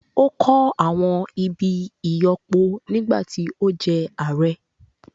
Ó kọ́ àwọn ibi ìyọ́pọ nígbà tí ó jẹ́ ààrẹ́